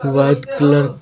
white colour --